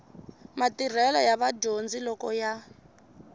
matirhelo ya vadyondzi loko ya